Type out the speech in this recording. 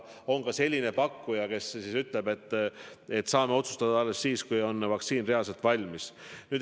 On ka selline pakkuja, kes ütleb, et me võime otsustada alles siis, kui vaktsiin on reaalselt valmis.